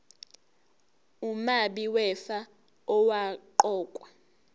umabi wefa owaqokwa